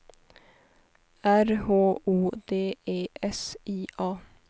R H O D E S I A